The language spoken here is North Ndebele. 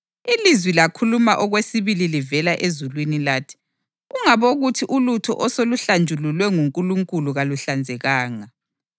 Ilizwi lakhuluma okwesibili livela ezulwini lathi, ‘Ungabokuthi ulutho oseluhlanjululwe nguNkulunkulu kaluhlanzekanga.’